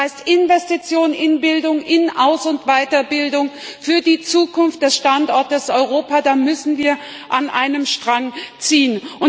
Das heißt, bei Investitionen in Bildung, in Aus und Weiterbildung, für die Zukunft des Standortes Europa müssen wir an einem Strang ziehen.